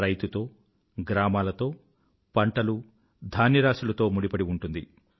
రైతుతో గ్రామాలతో పంటలు ధాన్య రాశులతో ముడిపడి ఉంటుంది